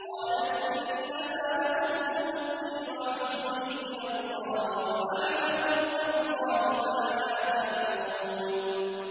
قَالَ إِنَّمَا أَشْكُو بَثِّي وَحُزْنِي إِلَى اللَّهِ وَأَعْلَمُ مِنَ اللَّهِ مَا لَا تَعْلَمُونَ